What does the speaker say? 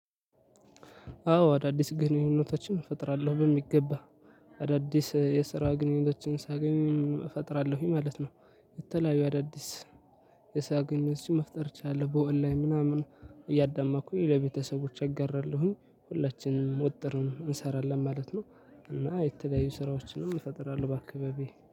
አዎ አዳዲስ ግንኙነቶችን እፈጥራለሁ በሚገባ አዳዲስ የስራ ግንኙነቶችን ሳገኝም እፈጥራለሁኝ ማለት ነው። የተለያዩ አዳዲስ የስራ ግንኝነቶችን መፍጠር እችላለሁ በኦንላይን ምናምን እያዳማጥኩኝ ለቤተሰቦች አጋራለሁኝ። ሁላችንም ወጥርን እንሰራለን ማለት ነው። እና የተለያዩ ስራዎችን እፈጥራለሁ በአካባቢየ